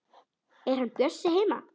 Er hann Bjössi heima?